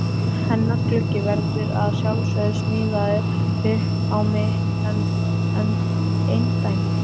Hennar gluggi verður að sjálfsögðu smíðaður upp á mitt eindæmi.